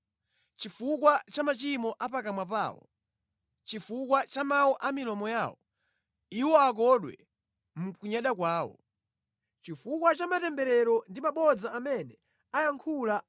Chifukwa cha machimo a pakamwa pawo chifukwa cha mawu a milomo yawo, iwo akodwe mʼkunyada kwawo. Chifukwa cha matemberero ndi mabodza amene ayankhula